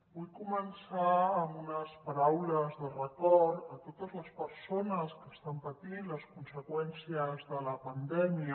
vull començar amb unes paraules de record a totes les persones que estan patint les conseqüències de la pandèmia